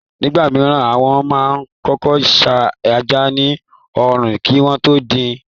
Nígbà mìíràn, wọ́n máa kọ́kọ́ sá ẹja ní òòrùn kí wọ́n tó dín in.